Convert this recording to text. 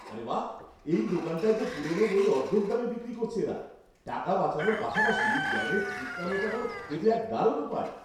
আরে বাঃ! এই দোকানটায় তো পুরোনো বই অর্ধেক দামে বিক্রি করছে এরা। টাকা বাঁচানোর পাশাপাশি জ্ঞানের তৃষ্ণা মেটানোর এ তো এক দারুণ উপায়!